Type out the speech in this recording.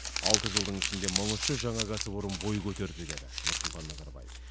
алты жылдың ішінде мың үш жүз жаңа кәсіпорын бой көтерді деді нұрсұлтан назарбаев